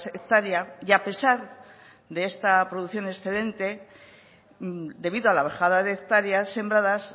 hectárea y a pesar de esta producción excelente debido a la bajada de hectáreas sembradas